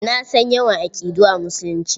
Na san yawan aƙidu a Musulunci.